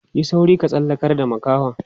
Yi sauri ka tsallakar da makahon.